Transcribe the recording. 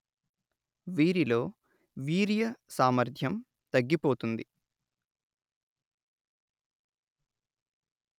వీరిలో వీర్య సామర్థ్యం తగ్గిపోతోంది